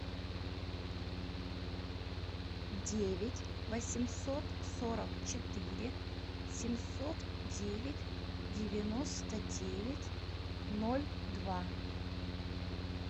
девять восемьсот сорок четыре семьсот девять девяносто девять ноль два